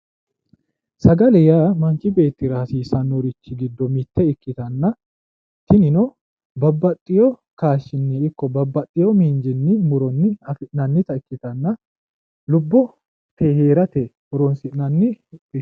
Sagale yaa manchi beettira hasiisannori giddo mitte ikkittanna tinino babbaxeyo miinjinni afi'nannita ikkittanna lubbote heerate horonsi'nanni